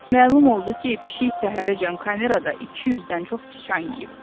Məlum oldu ki, pişik səhərəcən kamerada 200-dən çox sıçan yeyib.